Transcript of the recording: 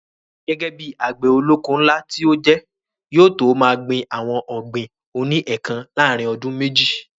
Gẹ́gẹ́ bíi àgbẹ̀ olóko ńlá tí ó jẹ́, yóò tó máa gbin àwọn ọ̀gbìn oní ẹ̀kan láàrin ọdún méjì